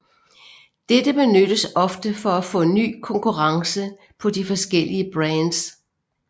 Dette benyttes ofte for at få ny konkurrence på de forskellige brands